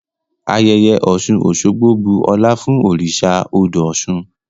Ayẹyẹ Oṣun-Oṣogbo bu ọlá fun oriṣa odo Oṣun.